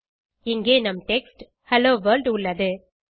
இங்கே நம் text hello world உள்ளது